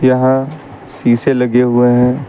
यहां शीशे लगे हुए हैं।